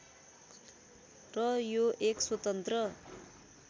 र यो एक स्वतन्त्र